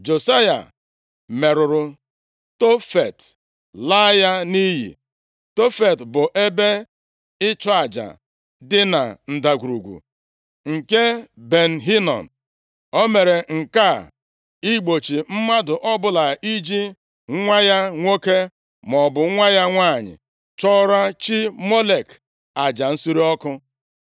Josaya merụrụ Tofet, laa ya nʼiyi. Tofet bụ ebe ịchụ aja dị na Ndagwurugwu nke Ben Hinom. O mere nke a igbochi mmadụ ọbụla iji nwa ya nwoke, maọbụ nwa ya nwanyị chụọrọ chi Molek aja nsure ọkụ.